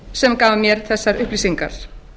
sem gaf mér þessar upplýsingar